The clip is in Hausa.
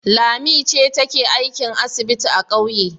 Lanti ce take aikin asibiti a ƙauye.